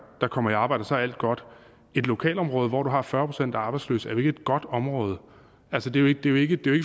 der kommer i arbejde og så er alt godt et lokalområde hvor du har fyrre procent arbejdsløse er jo ikke et godt område altså det er jo ikke